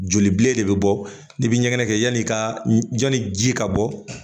Joli bile de bɛ bɔ ni biɲɛ kɛ yanni i ka yanni ji ka bɔ